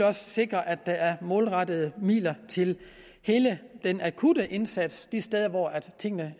også sikre at der er målrettet midler til hele den akutte indsats de steder hvor tingene